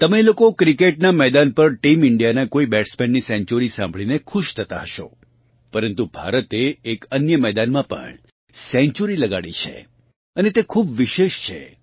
તમે લોકો ક્રિકેટનાં મેદાન પર ટીમ ઇન્ડિયાનાં કોઇ બેટ્સમેનની સેન્ચ્યુરી સાંભળીને ખુશ થતાં હશો પરંતુ ભારતે એક અન્ય મેદાનમાં પણ સેન્ચ્યુરી લગાડી છે અને તે ખૂબ વિશેષ છે